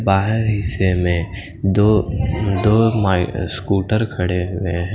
बाहर हिस्से में दो दो स्कूटर खड़े हुवे हैं।